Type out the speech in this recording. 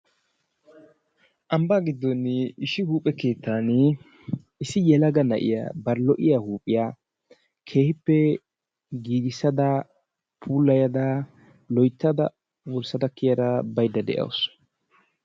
Ambaa gidooni issi huuphe kettani issi lo'iya huuphita kehippe giigisada loytada wursada kiyada bayda de'awusu.